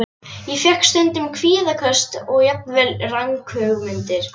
Ég fékk stundum kvíðaköst og jafnvel ranghugmyndir.